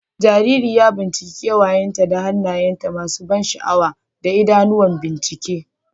Jariri ya binciki kewayenta da hannaye masu ban sha'awa da idanuwan bincike,